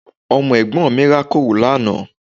Ọmọ Ẹ̀gbọ́n mi rákòrò lánàá